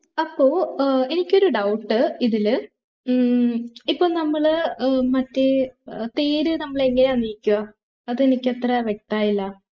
അപ്പൊ ഏർ എനിക്കൊരു doubt ഇതില് ഉം ഇപ്പൊ നമ്മള് ഏർ മറ്റേ ഏർ തേര് നമ്മള് എങ്ങനാ നീക്കാ അത് എനിക്ക് അത്ര വ്യക്ത മായില്ല